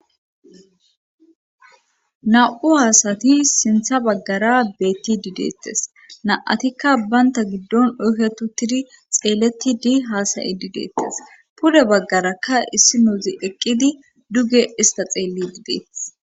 Na'u haasati sintha baggara beetti dideettes na'atikka baynta giddon oyketu tiri xeelleti di haasayi dideettes pude baggarakka issi nuuzi eqqidi duge ista xeelli dideeth.